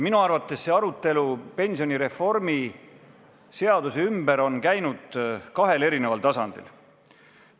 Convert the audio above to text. Minu arvates on arutelu pensionireformi ümber käinud kahel eri tasandil.